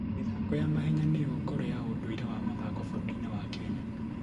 mĩthako ya mahenya nĩyo ngoro ya ũndũire wa mathako bũrũri-inĩ wa Kenya.